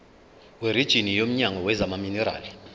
werijini womnyango wezamaminerali